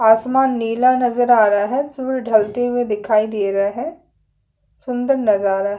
आसमान नीला नज़र आ रहा है सूर्य ढलते हुए दिखाई दे रहे है सुंदर नजारा है।